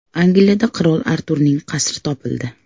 Angliyada Qirol Arturning qasri topildi.